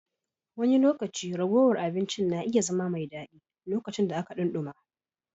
Wani lokaci ragowar abincin na iya zama mai daɗi, lokacin da aka dumi.